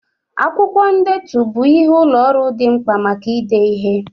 Akwụkwọ ndetu bụ ihe ụlọ ọrụ dị mkpa maka ide ihe.